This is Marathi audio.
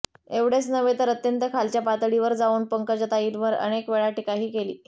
एवढेच नव्हे तर अत्यंत खालच्या पातळीवर जावून पंकजाताईवर अनेकवेळा टिकाही केली